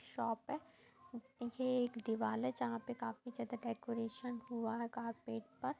Shop है। ये एक दीवाल है। जहां पे काफी ज्यादा डेकोरेशन हुआ है कार्पेट पर।